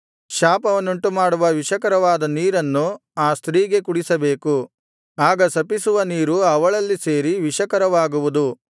ಶಾಪವನ್ನುಂಟುಮಾಡುವ ವಿಷಕರವಾದ ನೀರನ್ನು ಆ ಸ್ತ್ರೀಗೆ ಕುಡಿಸಬೇಕು ಆಗ ಶಪಿಸುವ ನೀರು ಅವಳಲ್ಲಿ ಸೇರಿ ವಿಷಕರವಾಗುವುದು